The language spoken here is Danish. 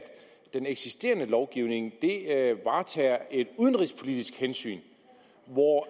den eksisterende lovgivning varetager et udenrigspolitisk hensyn hvor